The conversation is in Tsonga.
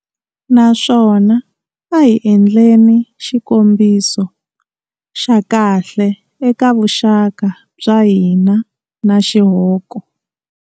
Naswona a hi endleni xikombiso xa kahle eka vuxaka bya hina na xihoko.